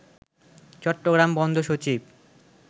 চট্টগ্রাম বন্দর সচিব